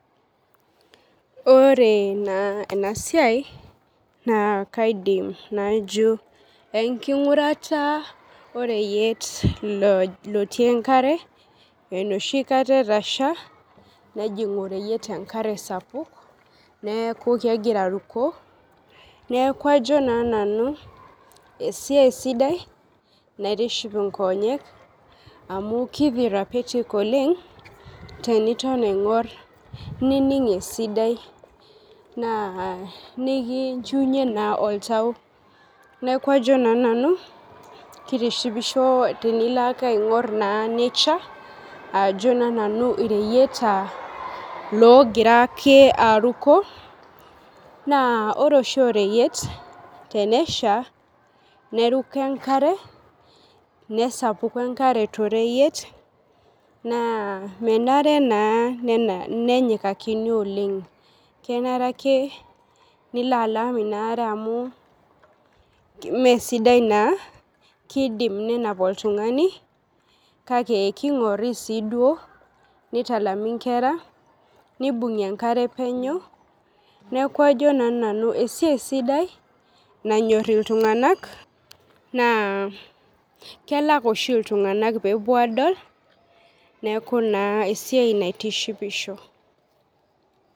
Ore naa enasiai, naa kaidim najo enking'urata oreyiet lotii enkare, enoshi kata etasha, nejing oreyiet enkare sapuk, neeku kegira aruko. Neeku ajo naa nanu, esiai sidai naitiship inkonyek, amu ki therapeutic oleng, teniton aing'or nining esidai. Naa nikinchiunye naa oltau. Neeku ajo naa nanu, kitishipisho tenilo ake aing'or naa nature, ajo naa nanu ireyieta logira ake aruko, naa ore oshi oreyiet tenesha, neruko enkare, nesapuku enkare toreyiet. Naa menare naa nenyikakini oleng. Kenare ake nilo alam inaare amu mesidai naa, kidim nenap oltung'ani, kake king'ori si duo, nitalami nkera, nibung'i enkare penyo, neeku ajo naa nanu esiai sidai, nanyor iltung'anak, naa kelak oshi iltung'anak pepuo adol, neeku naa esiai naitishipisho.